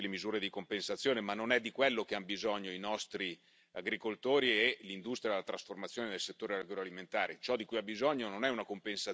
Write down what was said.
Qualche accenno su possibili misure di compensazione, ma non è di quello che hanno bisogno i nostri agricoltori e l'industria della trasformazione nel settore agroalimentare.